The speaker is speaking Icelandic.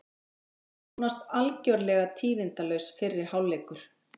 Nánast algjörlega tíðindalaus fyrri hálfleikur